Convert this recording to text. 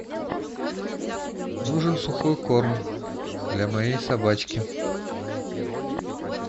нужен сухой корм для моей собачки